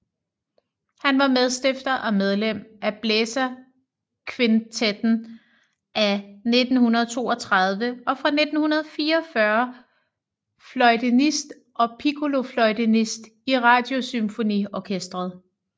Han var medstifter og medlem af Blæserkvintetten af 1932 og fra 1944 fløjtenist og piccolofløjtenist i Radiosymfoniorkestret